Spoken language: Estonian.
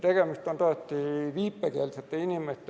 Tegemist on tõesti viipekeelsete inimestega.